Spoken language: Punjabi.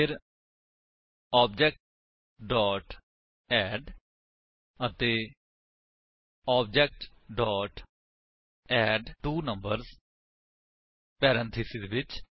ਫਿਰ ਓਬੀਜੇ ਅੱਡ ਅਤੇ ਓਬੀਜੇ ਐਡਟਵੋਨੰਬਰਸ ਪੈਰੇਂਥੀਸਿਸ ਵਿੱਚ